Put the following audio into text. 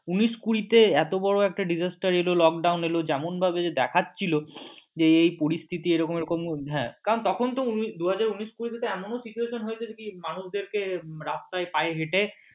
উনিশ কুরিতে এতো একটা disaster এলো lockdown এলো যেমন ভাবে দেখাচ্ছিল যে এই পরিস্থিতি এরকম এরকম হ্যাঁ কারণ তখন তো দু হাজার উনিশ কুড়ি এ এমনও situation হয়েছে যে কি মানুষদেরকে রাস্তায় পায়ে হেঁটে